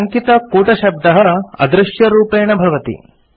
टङ्कितकूटशब्दः अदृश्यरूपेण भवति